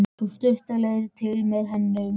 Sú stutta leit til með henni um morguninn.